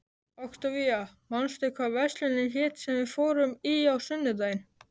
Októvía, manstu hvað verslunin hét sem við fórum í á sunnudaginn?